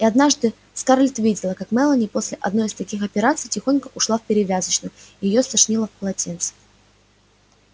и однажды скарлетт видела как мелани после одной из таких операций тихонько ушла в перевязочную и её стошнило в полотенце